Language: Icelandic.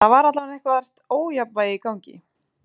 Það var allavega eitthvert ójafnvægi í gangi.